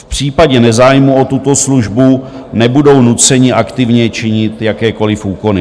V případě nezájmu o tuto službu nebudou nuceni aktivně činit jakékoliv úkony.